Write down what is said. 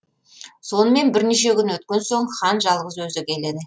сонымен бірнеше күн өткен соң хан жалғыз өзі келеді